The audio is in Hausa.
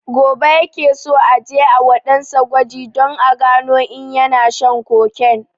Gobe ya ke so aje a wa ɗan sa gwaji don a gano in yana shan cocaine